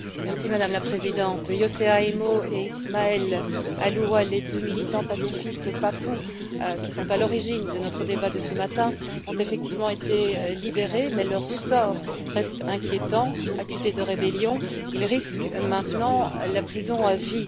Madame la Présidente, Hosea Yeimo et Ismael Alua, les deux militants pacifistes papous qui sont à l'origine de notre débat de ce matin, ont effectivement été libérés mais leur sort reste inquiétant. Accusés de rébellion, ils risquent maintenant la prison à vie.